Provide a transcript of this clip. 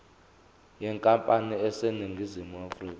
yenkampani eseningizimu afrika